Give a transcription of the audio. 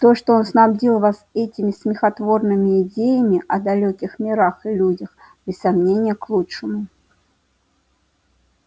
то что он снабдил вас этими смехотворными идеями о далёких мирах и людях без сомнения к лучшему